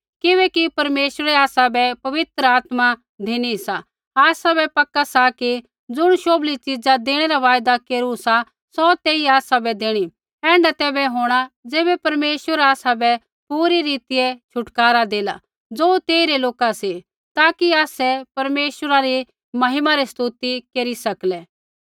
किबैकि परमेश्वरै आसाबै पवित्र आत्मा धिनी सा आसाबै पक्का सा कि ज़ुण शोभली च़ीजा देणै रा वायदा केरू सा सौ तेई आसाबै देणी ऐण्ढा तैबै होंणा ज़ैबै परमेश्वर आसाबै पूरी रीतिऐ छुटकारा देला ज़ो तेइरै लोका सी ताकि आसै परमेश्वरा री महिमा री स्तुति केरी सकलै